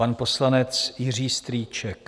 Pan poslanec Jiří Strýček.